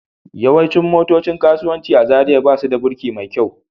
Yawancin motocin kasuwanci a Zariya ba su da birki mai kyau